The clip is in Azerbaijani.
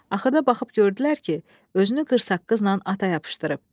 Axırda baxıb gördülər ki, özünü qırsaqqızla ata yapışdırıb.